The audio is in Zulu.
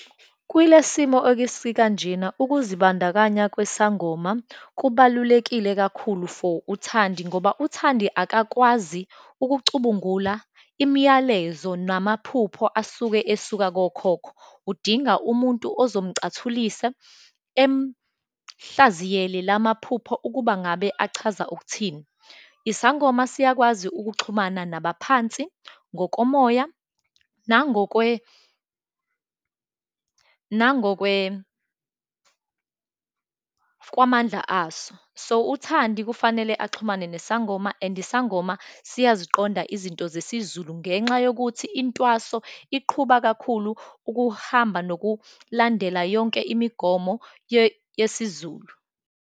Kwilesimo okesikanjena, ukuzibandakanya kwesangoma kubalulekile kakhulu for uThandi, ngoba uThandi akakwazi ukucubungula imiyalezo namaphupho asuke esuka kokhokho. Udinga umuntu ozomcathulisa, emhlaziyele lamaphupho ukuba ngabe achaza ukuthini. Isangoma siyakwazi ukuxhumana nabaphansi ngokomoya, nangokwe, nangokwe kwamandla aso. So, uThandi kufanele axhumane nesangoma and isangoma siyaziqonda izinto zesiZulu, ngenxa yokuthi intwaso iqhuba kakhulu ukuhamba nokulandela yonke imigomo yesiZulu.